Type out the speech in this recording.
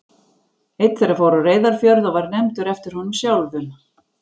Einn þeirra fór á Reyðarfjörð og var nefndur eftir honum sjálfum.